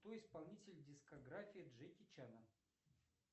кто исполнитель дискографии джеки чана